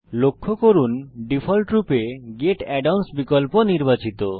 লক্ষ্য করুন ডিফল্টরূপে গেট add অন্স বিকল্প নির্বাচিত